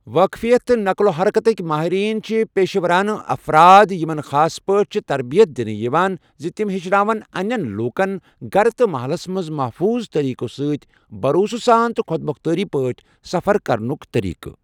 واقفیت تہٕ نقل و حرکتٕکۍ مٲہریٖن چھ پیٚشہٕ وَرانہٕ افراد یِمن خاص پٲٹھۍ چھےٚ تربیت دِنہٕ یِوان زِ تِم ہیٚچھناوَن اَنِٮ۪ن لوٗکَن گَرِ تہٕ مَہلَس منٛز محفوٗظ طریقہٕ سۭتۍ بَروسہٕ سان تہٕ خۄد مۄختار پٲٹھۍ سَفر کرنُک طریٖقہٕ۔